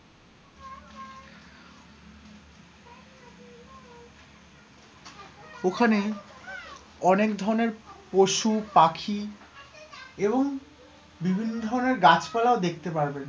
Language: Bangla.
ওখানে অনেক ধরনের পশু, পাখি এবং বিভিন্ন ধরনের গাছপালাও দেখতে পারবেন,